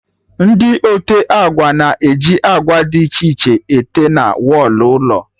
Ndị ote agba na-eji agba dị iche iche ete na wọlụ ụlọ